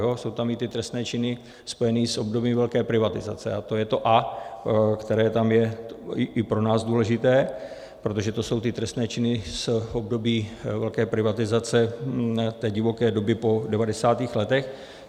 Jsou tam i ty trestné činy spojené s obdobím velké privatizace a to je to "a", které tam je i pro nás důležité, protože to jsou ty trestné činy z období velké privatizace, té divoké doby po 90. letech.